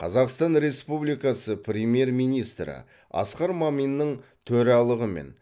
қазақстан республикасы премьер министрі асқар маминнің төралығымен